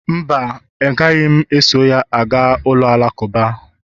mba, agaghị m eso ya gaa ụlọ alakụba